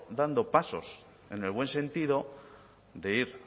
dando pasos en el buen sentido de ir